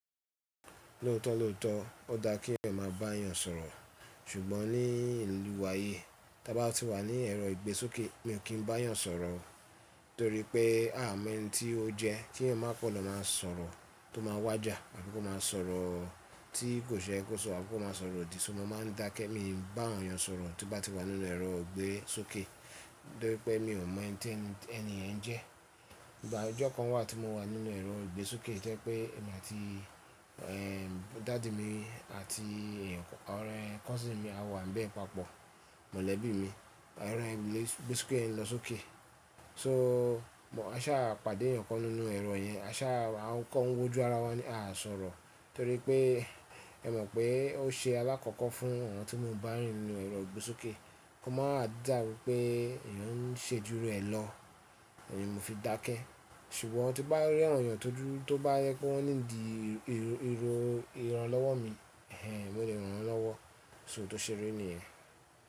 Lóòótọ́ lóòótọ́ ó dá kí ẹ̀yin máa bá èèyàn sọ̀rọ̀, ṣùgbọ́n ní ìlú wa yí, tí a bá ti wà ní ẹ̀rọ ìgbésókè mi ò kí n bá èèyàn sọ̀rọ̀ torí pé a mọ ẹni tí ó jẹ. Kí ẹ̀yin máa pọ̀ lọ máa sọ̀rọ̀ tó máa wàjà àbí kó máa sọ̀rọ̀ tí kò ṣe é kó sọ̀rọ̀ àbí kó máa sọ̀rọ̀ òdì. Ṣo mo máa ń dákẹ́ mi bá èèyàn sọ̀rọ̀ tí mo bá ti wà nínú ẹ̀rọ ìgbésókè torí pé mi ò mọ ẹni ẹ́ ń jẹ́. Ìgbà ọjọ́ kan wà tí mo wà nínú ẹ̀rọ ìgbésókè jẹ́ pé èmi àti, ẹ́, dàdi mi àti ọ̀rẹ́ cousin mi a wà ń bẹ́ẹ̀ papọ̀ mọ̀lẹ́bí mi. Ẹ̀rọ ìgbésókè ń lọ sókè. So bọ̀ a sá pàdé èèyàn kan nínú ẹ̀rọ yẹn. A sá a ń kó wọn wójú ara wa ní à á sọ̀rọ̀ torí pé ẹ mọ̀ pé ó ṣe alákọ̀ọ́kọ́ fún Awón tí mò ń bá rìn nínú ẹ̀rọ ìgbésókè kó má dà wípé èèyàn ń ṣe jù rẹ̀ lọ. Ín mo fi dákẹ́. Ṣùgbọ́n tí bá rí awon ẹ̀yàn tó dúdú tó bá yẹ kó wọ́n nídìí ìro ìran lọ́wọ́ mi, ẹ́ n mo lé ran wọ́n lọ́wọ́. So tó ṣe rí nìyẹn.